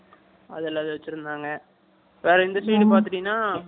அது எல்லாத்தையும் வச்சிருந்தாங்க, வேற இந்த side பாத்துட்டீங்கன்னா, உனக்கு